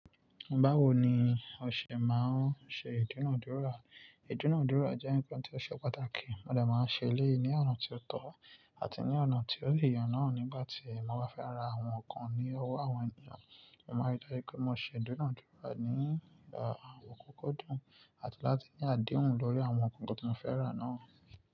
Báwo ni òṣè máa ń ṣe ìdúnàádúrà? Ìdúnádúrà jẹ́ nǹkan tí ó ṣe pàtàkì, mo de máa ń ṣe eleyii ní ọ̀nà tí ó tọ́ àti ní ọ̀nà tí ó lè yàn náà nígbà tí mo bá fẹ́ ra àwọn nǹkan ní owó àwọn ènìyàn. Mo maa n je kí won ṣe ìdúnádúrà nípa àwọn kókó dùn àti láti ní àdéhùn lórí àwọn nkan tí mo fẹ́ rà náà.